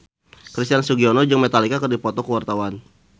Christian Sugiono jeung Metallica keur dipoto ku wartawan